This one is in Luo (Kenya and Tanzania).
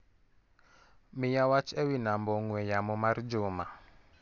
Miya wach ewi namba ong'ue yamo mar Juma.